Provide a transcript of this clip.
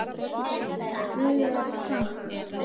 Dugar skammt.